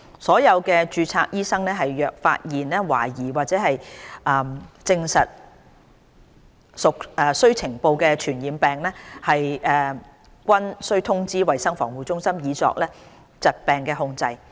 所有註冊醫生若發現懷疑或證實屬須呈報的傳染病，均須通知衞生防護中心以作疾病控制。